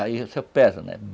Aí você pesa, né?